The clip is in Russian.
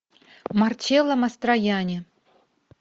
марчелло мастроянни